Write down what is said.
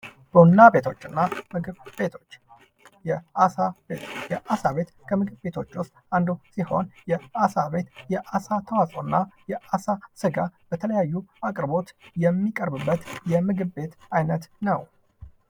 ቡና ቤቶችና ምግብ ቤቶች የአሳ ቤቶች የአሳ ቤት ከምግብ ቤቶች ውስጥ አንዱ ሲሆን የአሳ ቤት የአሳ ተዋጾ እና የአሳ ስጋ በተለያዩ አቅርቦት የሚቀርብበት የምግብ ቤት አይነት ነው ::